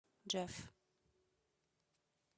джефф